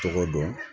Tɔgɔ dɔn